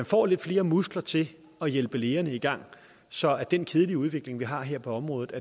får lidt flere muskler til at hjælpe lægerne i gang så den kedelige udvikling vi har her på området